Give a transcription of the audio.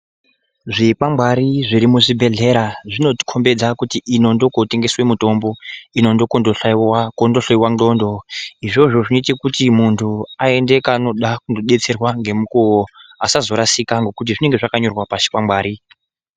Zvikwangwari zviri muzvibhedhleya zvinotikombidze kuti ino ndokotengeswe mutombo ino ndokondohloyiwa ndxondo, izvozvo zvinoite kuti muntu aende kaanoda kunodetserwa ngemukuwo asazorashikwa ngekuti zvinenge zvakanyorwa pachikwangwari.